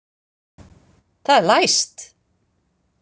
Það er læst!